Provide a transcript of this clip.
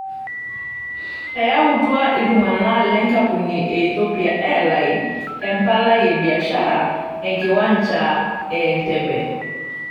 Eyautua itungana lenkampuni e Ethopian Airlines emplai e biashara ekiwancha e Entebbe.